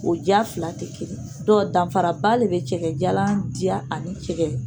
O diya fila tɛ kelen ye, dɔnku danfaraba de bɛ cɛkɛjalan diya ani cɛkɛ